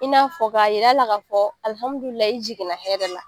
I n'a fɔ k'a jira la ka fɔ i jiginna hɛrɛ la